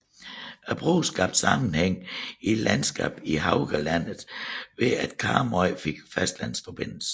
Broen skabte sammenhæng i landskabet Haugalandet ved at Karmøy fik fastlandsforbindelse